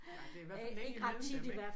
Nej der er i hvert fald længe imellem dem ik